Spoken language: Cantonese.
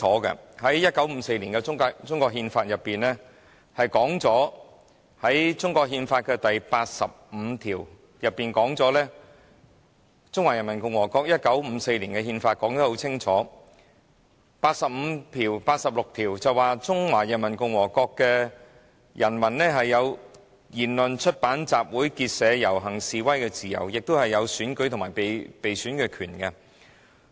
其實《中華人民共和國憲法》寫得很清楚，而中華人民共和國1954年出版的《憲法》第八十六及八十七條說明，中華人民共和國公民有言論、出版、集會、結社、遊行及示威的自由，亦有選舉權及被選舉權。